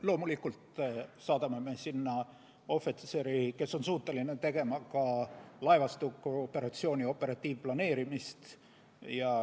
Loomulikult saadame me sinna ohvitseri, kes on suuteline tegema ka laevastikuoperatsiooni operatiivplaneerimist.